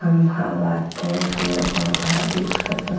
खंभा बाटे। पेड़-पौधा दिखत --